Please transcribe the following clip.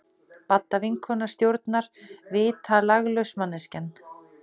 Badda vinkona stjórnar, vitalaglaus manneskjan!